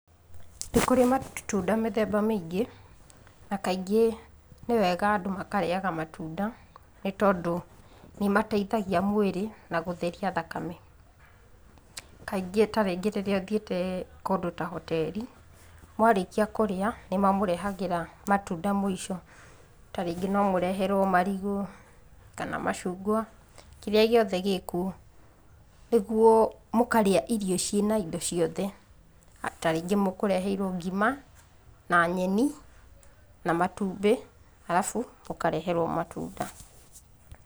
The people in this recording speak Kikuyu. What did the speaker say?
Nĩ kũrĩ matunda mĩthemba mĩingĩ, na kaingĩ nĩ wega andũ makarĩaga matunda nĩtondũ nĩmateithagia mwĩrĩ na gũtheria thakame. Kaingĩ ta rĩrĩa thiĩte kũndũ ta hoteri, mwarĩkia kũrĩa nĩmamũrehagĩra matunda maũico, ta rĩngĩ no mũreherwo ta marigũ, macungwa kĩrĩa gĩothe gĩkuo, nĩgũo mũkarĩa irio ciĩna indo ciothe. Ta rĩngĩ mũkũreheirwo ngima na nyeni na matumbĩ alafu mũkareherwo matunda.